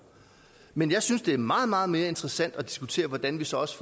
men jeg synes det er meget meget mere interessant at diskutere hvordan vi så også